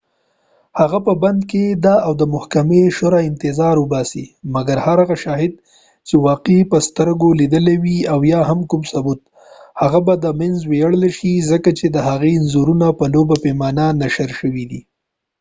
هغه په بند کی ده او د محکمی د شروع انتظار اوباسی مګر هر هغه شاهد چی واقعه یې په سترګو لیدلی وي او یا هم کوم ثبوت هغه به د منځه ویوړل شی ځکه چی دهغې انځورونه په لوبه پیمانه نشر شوی دي